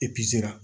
Epi